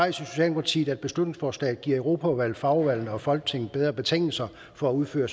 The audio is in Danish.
i socialdemokratiet at beslutningsforslaget giver europaudvalget fagudvalgene og folketinget bedre betingelser for at udføre